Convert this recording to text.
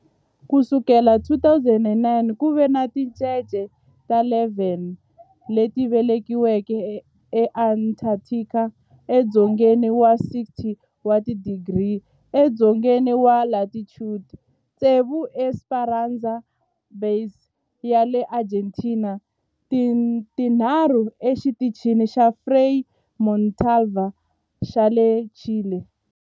Ku sukela hi 2009, ku ve ni tincece ta 11 leti velekiweke eAntarctica, edzongeni wa 60 wa tidigri edzongeni wa latitude, tsevu eEsperanza Base ya le Argentina ni tinharhu eXitichini xa Frei Montalva xa le Chile.